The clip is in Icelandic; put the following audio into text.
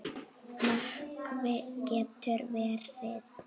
Nökkvi getur verið